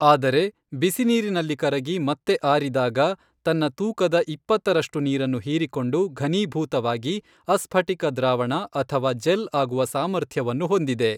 ಆದರೆ, ಬಿಸಿನೀರಿನಲ್ಲಿ ಕರಗಿ ಮತ್ತೆ ಆರಿದಾಗ ತನ್ನ ತೂಕದ ಇಪ್ಪತ್ತರಷ್ಟು ನೀರನ್ನು ಹೀರಿಕೊಂಡು ಘನೀಭೂತವಾಗಿ ಅಸ್ಫಟಿಕ ದ್ರಾವಣ ಅಥವಾ ಜೆಲ್ ಆಗುವ ಸಾಮರ್ಥ್ಯವನ್ನು ಹೊಂದಿದೆ.